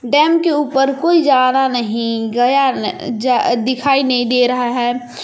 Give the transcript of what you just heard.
Dam के ऊपर कोई जा रहा नहीं गया न जा दिखाई नहीं दे रहा है।